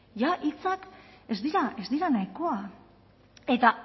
jada hitzak ez dira nahikoa eta